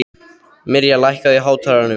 Mirja, lækkaðu í hátalaranum.